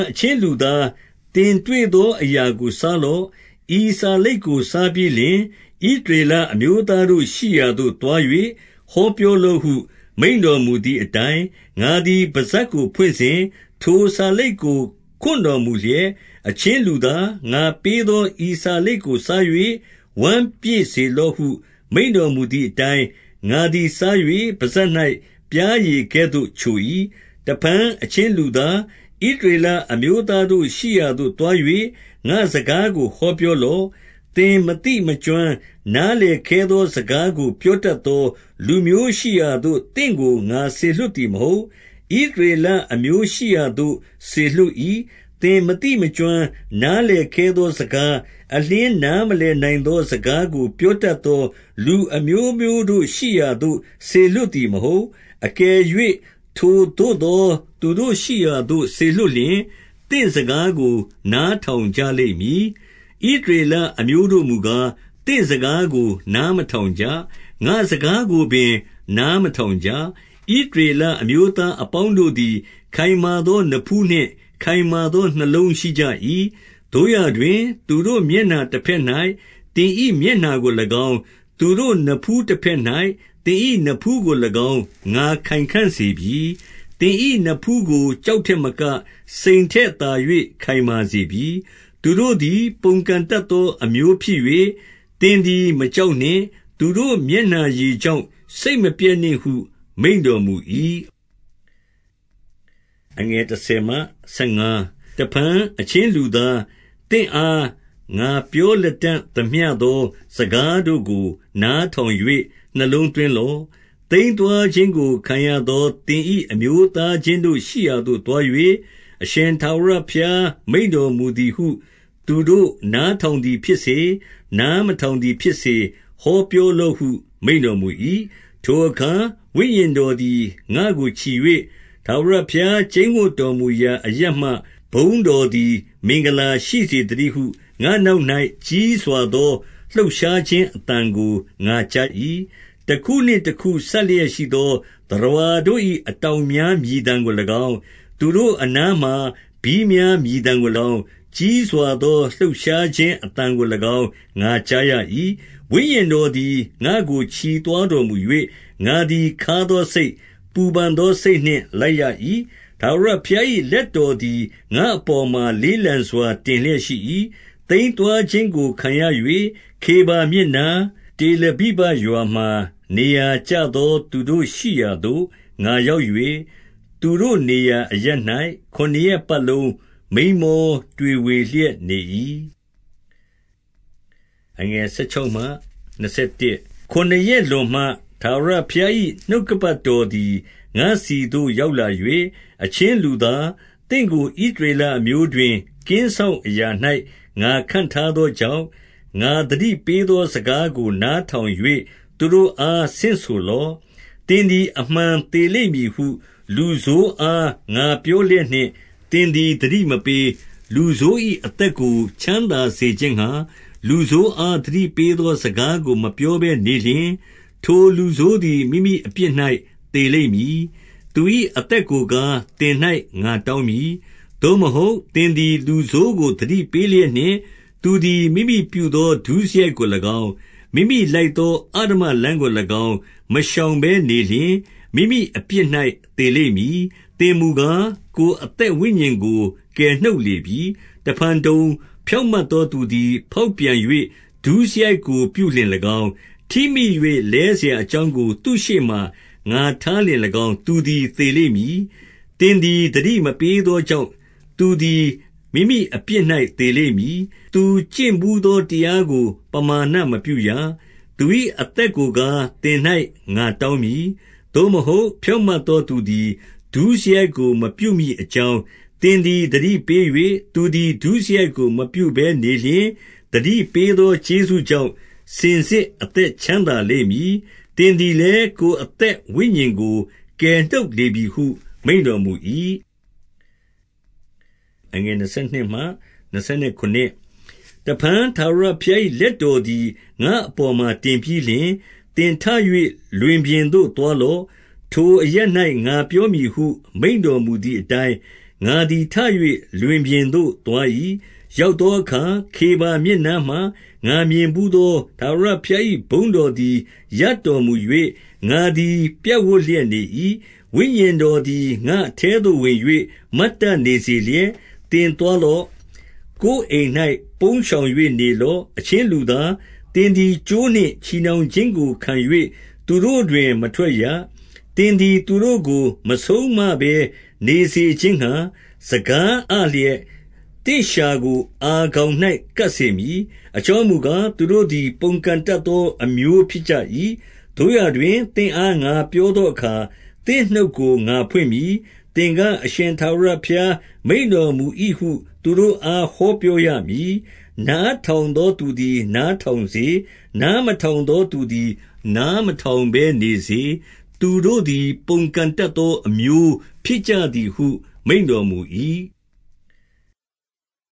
အချင်းလူသား၊ သင်တွေ့သောအရာကို စားလော့။ ဤစာလိပ်ကိုစားပြီးလျှင်၊ ဣသရေလ အမျိုးသားတို့ရှိရာသို့ သွား၍ဟော ပြောလော့ဟု မိန့်တော်မူသည်အတိုင်း၊ 2 ငါသည်ပစပ်ကိုဖွင့်စဉ် ထိုစာလိပ်ကို ခွံ့တော်မူ လျက်၊ 3 အချင်းလူသား၊ ငါပေးသော ဤစာလိပ်ကို စား၍ ဝမ်းပြည့်စေလော့ဟု မိန့်တော်မူသည်အတိုင်း၊ ငါသည် စား၍ပစပ်၌ပျားရည်ကဲ့သို့ ချို၏။ 4 တဖန်၊ အချင်းလူသား၊ ဣသရေလအမျိုးသားတို့ ရှိရာသို့သွား၍ ငါ့စကားကို ဟောပြောလော့။ 5 သင်မသိမကျွမ်း၊ နာလည်ခဲသော စကားကို ပြောတတ်သော လူမျိုးရှိရာသို့ သင့်ကို ငါစေလွှတ်သည် မဟုတ်။ ဣသရေလအမျိုးရှိရာသို့ စေလွှတ်၏။ 6 သင်မသိမကျွမ်း၊ နားလည်ခဲသောစကား၊ အလျှင်းနားမလည်နိုင်သော စကားကို ပြောတတ်သော လူအမျိုးမျိုးတို့ ရှိရာသို့စေလွှတ်သည်မဟုတ်။ အကယ်၍ ထိုသို့သော သူတို့ရှိရာသို့ စေလွှတ်လျှင်၊ သင့်စကားကို နားထောင်ကြလိမ့်မည်။ 7 ဣသရေလအမျိုးတို့မူကား၊ သင့်စကားကို နားမထောင်ကြ။ ငါ့စကားကိုပင် နားမထောင်ကြ။ ဣသရေလအမျိုးသားအပေါင်းတို့သည် ခိုင်မာသော နဖူးနှင့်ခိုင်မာသော နှလုံးရှိကြ၏။ 8 သို့ရာတွင်၊ သူတို့မျက်နှာတဘက်၌ သင်၏ မျက်နှာကို၎င်း၊ သူတို့နဖူးတဘက်၌ သင်၏နဖူးကို၎င်း ငါခိုင်ခံ့စေပြီ။ 9 သင်၏နဖူးကို ကျောက်ထက်မက၊ စိန်ထက် သာ၍ ခိုင်မာစေပြီ။ သူတို့သည် ပုန်ကန်တတ်သော အမျိုးဖြစ်၍၊ သင်သည်မကြောက်နှင့်။ သူတို့မျက်နှာရည် ကြောင့် စိတ်မပျက်နှင့်ဟု မိန့်တော်မူ၏။ 10 တဖန်၊ အချင်းလူသား၊ သင့်အားငါပြောလတံ့ သမျှသော စကားတို့ကို နားထောင်၍ နှလုံးသွင်းလော့။ 11 သိမ်းသွားခြင်းကို ခံရသော သင်၏အမျိုးသား ချင်းတို့ရှိရာသို့သွား၍၊ အရှင်ထာဝရဘုရားမိန့်တော်မူ သည်ဟု၊ သူတို့နားထောင်သည်ဖြစ်စေ၊ နားမထောင် သည်ဖြစ်စေ၊ ဟောပြောလော့ဟု မိန့်တော်မူ၏။ 12 ထိုအခါ ဝိညာဉ်တော်သည် ငါ့ကိုချီ၍၊ ထာဝရ ဘုရားကျိန်းဝပ်တော်မူရာ အရပ်မှ ဘုန်းတော်သည် မင်္ဂလာရှိစေသတည်းဟု၊ ငါ့နောက်၌ ကြီးစွာသော လှုပ်ရှားခြင်းအသံကို ငါကြား၏။ 13 တခုနှင့်တခုစပ်လျက်ရှိသော သတ္တဝါတို့၏ အတောင်များမြည်သံကို၎င်း၊ သူတို့အနားမှာ ဘီးများ မြည်သံကို၎င်း၊ ကြီးစွာသော လှုပ်ရှားခြင်းအသံကို၎င်း ငါကြားရ၏။ 14 ဝိညာဉ်တော်သည် ငါ့ကိုချီသွားတော်မူ၍၊ ငါသည်ခါးသောစိတ်၊ ပူပန်သောစိတ်နှင့်လိုက်ရ၏။ ထာဝရဘုရား၏လက်တော်သည် ငါ့အပေါ်မှာ လေးလံ စွာ တင်လျက်ရှိ၏။ 15 သိမ်းသွားခြင်းကိုခံရ၍၊ ခေဗာမြစ်နား၊ တေလ ဗိဗရွာမှာ နေရာကျသော သူတို့ရှိရာသို့ ငါရောက်၍၊ သူတို့နေရာအရပ်၌ ခုနစ်ရပ်ပတ်လုံး မိန်းမောတွေဝေ လျက်နေ၏။ 16 ခုနစ်ရက်လွန်မှ ထာဝရဘုရား၏ နှုတ်ကပတ် တော်သည် ငါ့ဆီသို့ ရောက်လာ၍၊ 17 အချင်းလူသား၊ သင့်ကိုဣသရေလအမျိုးတွင် ကင်းစောင့်အရာ၌ ငါခန့်ထားသောကြောင့်၊ ငါသတိ ပေးသောစကားကို နားထောင်၍ သူတို့အား ဆင့်ဆို လော့။ 18 သင်သည် အမှန်သေလိမ့်မည်ဟု၊ လူဆိုးအား ငါပြောလျက်နှင့် သင်သည်သတိမပေး၊ လူဆိုး၏ အသက် ကို ချမ်းသာစေခြင်းငှါ၊ လူဆိုးအား သတိပေးသောစကား ကို မပြောဘဲနေလျှင် ထိုလူဆိုးသည် မိမိအပြစ်၌ သေ လိမ့်မည်။ သူ၏အသက်ကိုကား၊ သင်၌ငါတောင်းမည်။ 19 သို့မဟုတ်၊ သင်သည် လူဆိုးကို သတိပေးလျက် နှင့်သူသည် မိမိပြုသော ဒုစရိုက်ကို၎င်း၊ မိမိလိုက်သော အဓမ္မလမ်းကို၎င်း မရှောင်ဘဲနေလျှင်၊ မိမိအပြစ်၌ သေလိမ့်မည်။ သင်မူကား၊ ကိုယ်အသက် ဝိညာဉ်ကို ကယ်နှုတ်လေပြီ။ 20 တဖန်တုံ၊ ဖြောင့်မတ်သောသူသည်ဖေါက်ပြန်၍ ဒုစရိုက်ကိုပြု လျှင်၎င်း၊ ထိမိ၍ လဲစရာအကြောင်းကို သူ့ရှေ့မှာငါထားလျှင်၎င်း သူသည် သေလိမ့်မည်။ သင်သည်သတိမပေးသောကြောင့်၊ သူသည်မိမိအပြစ်၌ သေလိမ့်မည်။ သူကျင့်ဘူးသော တရားကို ပမာဏမပြုရ။ သူ၏ အသက်ကိုကား၊ သင်၌ငါတောင်းမည်။ 21 သို့မဟုတ်၊ ဖြောင့်မတ်သော သူသည်ဒုစရိုက်ကို မပြုမည်အကြောင်း၊ သည်သည်သတိပေး၍ သူသည် ဒုစရိုက်ကို မပြုဘဲနေလျှင်၊ သတိပေးသောကျေးဇူး ကြောင့် စင်စစ်အသက်ချမ်းသာလိမ့်မည်။ သင်သည် လည်း၊ ကိုယ်အသက်ဝိညာဉ်ကို ကယ်နှုတ်လေပြီဟု မိန့်တော်မူ၏။ 22 တဖန် ထာဝရဘုရား၏လက်တော်သည် ငါ့ အပေါ်မှာ တင်ပြီးလျှင်၊ သင်ထ၍ လွင်ပြင်သို့ သွားလော့။ ထိုအရပ်၌ ငါပြောမည်ဟု မိန့်တော်မူသည် အတိုင်း၊ 23 ငါသည် ထ၍လွင်ပြင်သို့သွား၏။ ရောက်သော အခါ ခေဗာမြစ်နားမှာ ငါမြင်ဘူးသော ထာဝရဘုရား၏ ဘုန်းတော်သည် ရပ်တော်မူ၍၊ ငါသည် ပြပ်ဝပ်လျက် နေ၏။ 24 ဝိညာဉ်တော်သည် ငါ့အထဲသို့ဝင်၍ မတ်တတ် နေစေလျက်၊ သင်သွားလော့။ ကိုယ်အိမ်၌ ပုန်းရှောင်၍ နေလော့။ 25 အချင်းလူသား၊ သင်သည်ကြိုးနှင့်ချည်နှောင် ခြင်းကို ခံ၍ သူတို့တွင် မထွက်ရ။ 26 သင်သည် သူတို့ကို မဆုံးမဘဲနေစေခြင်းငှါ၊ စကားအလျက်သင့် လျှာကိုအာခေါင်၌ ကပ်စေမည်။ အကြောင်းမူကား၊ သူတို့သည်ပုန်ကန် တတ်သောအမျိုး ဖြစ်ကြ၏။ 27 သို့ရာတွင် သင့်အားငါပြောသောအခါ သင့်နှုတ် ကို ငါဖွင့်မည်။ သင်က၊ အရှင်ထာဝရဘုရား မိန့်တော်မူ၏ ဟု သူတို့အား ဟောပြောရမည်။ နားထောင်သောသူသည် နားထောင်စေ၊ နားမထောင်သောသသည် နားမထောင် ဘဲနေစေ သူတို့သည်ပုန်ကန်တတ်သော အမျိုးဖြစ်ကြ သည် ဟုမိန့်တော်မူ၏။